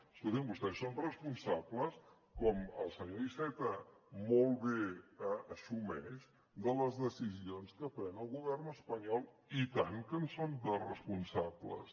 escolti’m vostès són responsables com el senyor iceta molt bé assumeix de les decisions que pren el govern espanyol i tant que en són de responsables